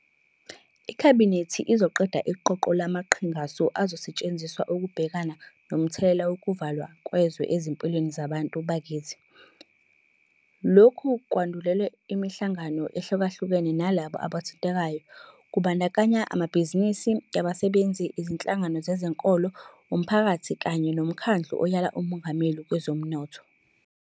IKhabhinethi izoqedela iqoqo lamaqhingasu azosetshenziswa ukubhekana nomthelela wokuvalwa kwezwe ezimpilweni zabantu bakithi. Lokhu kwandulelwe imihlangano ehlukahlukene nalabo abathintekayo kubandakanya amabhizinisi, abasebenzi, izinhlangano zezenkolo, umphakathi kanye noMkhandlu Oyala uMongameli Kwezomnotho.